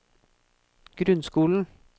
grunnskolen